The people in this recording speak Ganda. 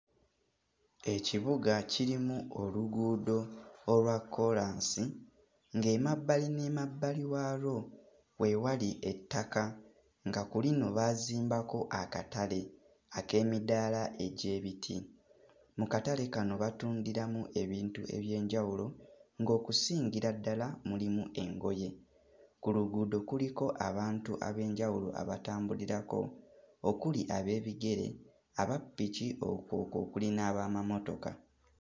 Ekibuga kirimu oluguudo olwa kkoolaasi ng'emabbali n'emabbali waalwo we wali ettaka nga ku lino baazimbako akatale ak'emidaala egy'ebiti. Mu katale kano batundiramu ebintu eby'enjawulo ng'okusingira ddala mulimu engoye. Ku luguudo kuliko abantu ab'enjawulo abatambulirako okuli ab'ebigere, abappiki okwo okuli n'ab'amamotoka.